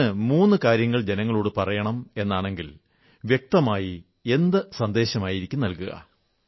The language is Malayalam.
അങ്ങ് മൂന്നു കാര്യങ്ങൾ ജനങ്ങളോടു പറയണം എന്നാണെങ്കിൽ വ്യക്തമായി എന്ത് സന്ദേശങ്ങളാകും നല്കുക